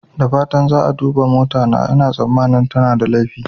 Da fatan za a duba motata, ina tsammanin tana da laifi.